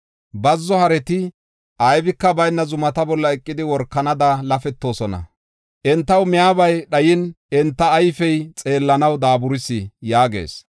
Bazzo hareti aybika bayna dhoqa zumata bolla eqidi, workanada lafettoosona. Entaw miyabay dhayin, enta ayfey xeellanaw daaburis” yaagis.